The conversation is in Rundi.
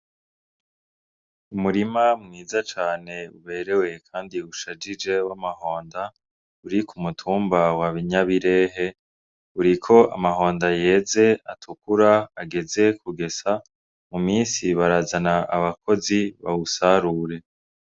Umurima mwiza cane uberewe kandi ushajije w'amahonda uri ku mutumba wa Nyabirehe uriko amahonda yeze atukura ageze kugesa mu misi barazana abakozi bawusarure.